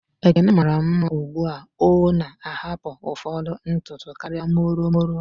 Ekene mara mma ugbua o na ahapu ụfọdụ ntutu karịa molo molo